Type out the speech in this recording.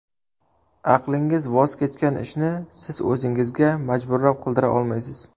Aqlingiz voz kechgan ishni siz o‘zingizga majburlab qildira olmaysiz.